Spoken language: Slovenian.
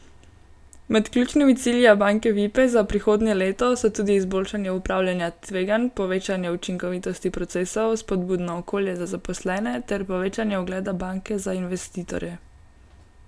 Med ključnimi cilji Abanke Vipe za prihodnje leto so tudi izboljšanje upravljanja tveganj, povečanje učinkovitosti procesov, spodbudno okolje za zaposlene ter povečanje ugleda banke za investitorje.